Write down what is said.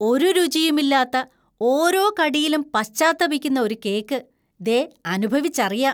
ഒരു രുചിയുമില്ലാത്ത, ഓരോ കടിയിലും പശ്ചാത്തപിക്കുന്ന ഒരു കേക്ക് ദേ അനുഭവിച്ചറിയാം.